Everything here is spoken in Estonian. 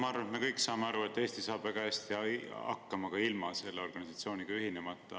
Ma arvan, me kõik saame aru, et Eesti saab väga hästi hakkama ka ilma selle organisatsiooniga ühinemata.